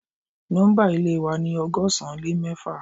Nọ́mbà Ilé wa ni ọgọ́sán lè mẹ́fà